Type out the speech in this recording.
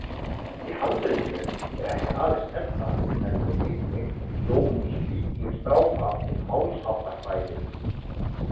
Í handritinu er ekki aðeins Eddan heldur einnig Jómsvíkingadrápa og Málsháttakvæði.